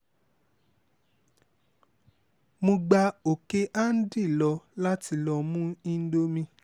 mo gba ọ̀kẹ́-andí lọ láti lọ́ọ́ mú ìǹdọ̀míe